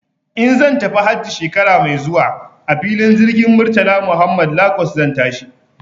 In zan tafi hajji shekara mai zuwa a filin jirgin Murtala Muhammad Lagos zan tashi.